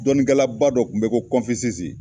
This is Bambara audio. Dɔnnikɛlaba dɔ kun be yen ko kɔnfisisi